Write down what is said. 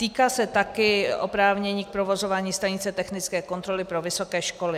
Týká se také oprávnění k provozování stanice technické kontroly pro vysoké školy.